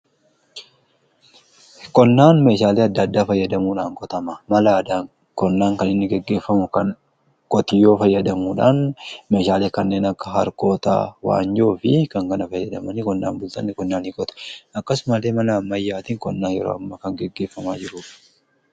Qonnaan meeshaalee adda-addaa fayyadamuudhaan qotama. mala addaa qonnaan kan inni geggeeffamu kan qotiyyoo fayyadamuudhaan meeshaale kanneen akka harqoota waanjoo fi kana kana fayyadaman. Qonnaan bultoonni qonnaa qota .akkasumalee mala ammayyaatiin qonnaan yeroo amma kan geggeeffamaa jiruuf.